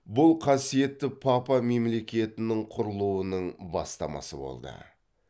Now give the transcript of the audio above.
бұл қасиетті папа мемлекетінің құрылуының бастамасы болды